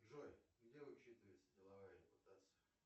джой где учитывается деловая репутация